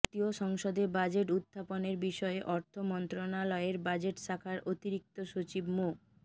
জাতীয় সংসদে বাজেট উত্থাপনের বিষয়ে অর্থ মন্ত্রণালয়ের বাজেট শাখার অতিরিক্ত সচিব মো